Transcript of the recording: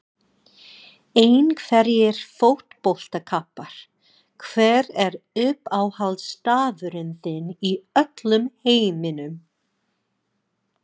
Einhverjir fótboltakappar Hver er uppáhaldsstaðurinn þinn í öllum heiminum?